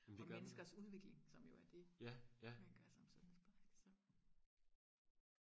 og menneskers udvikling som jo er det man gør som sundhedsplejerske så